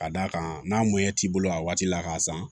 Ka d'a kan n'a ɲɛ t'i bolo a waati la k'a san